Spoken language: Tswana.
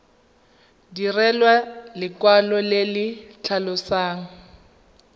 direlwa lekwalo le le tlhalosang